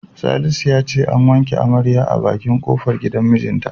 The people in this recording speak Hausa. Salisu ya ce an wanke amaryar a bakin kofar gidan mijinta.